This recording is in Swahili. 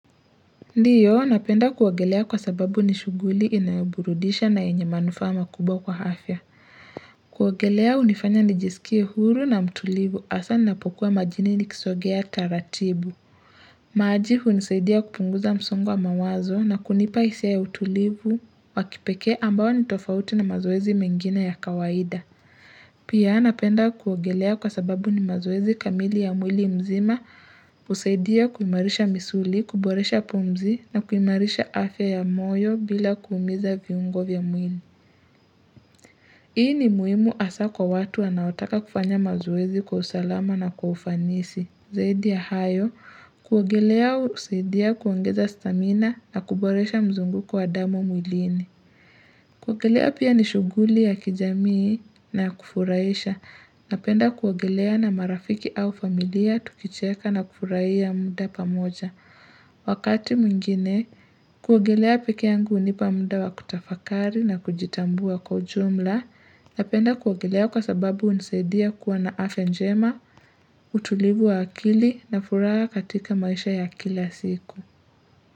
Ndiyo, napenda kuogelea kwa sababu ni shughuli inayoburudisha na yenye manufaa makubwa kwa afya. Kuogelea hunifanya nijisikie huru na mtulivu hasa ninapokuwa majini nikiswagea taratibu. Maji hunisaidia kupunguza msongo wa mawazo na kunipa hisia ya utulivu wakipekee ambayo nitofauti na mazoezi mengine ya kawaida. Pia napenda kuogelea kwa sababu ni mazoezi kamili ya mwili mzima hUsaidia kuimarisha misuli, kuboresha pumzi na kuimarisha afya ya moyo bila kuumiza viungo vya mwili Hii ni muhimu hasa kwa watu wanaotaka kufanya mazoezi kwa usalama na kwa ufanisi Zaidi ya hayo kuogelea husaidia kuongeza stamina na kuboresha mzunguko wa damu mwilini kuogelea pia ni shughuli ya kijamii na ya kufurahisha. Napenda kuogelea na marafiki au familia tukicheka na kufurahia muda pamoja. Wakati mwingine, kuogelea peke yangu hunipa muda wa kutafakari na kujitambua kwa ujumla. Napenda kuogelea kwa sababu hunisaidia kuwa na afya njema, utulivu wa akili na furaha katika maisha ya kila siku.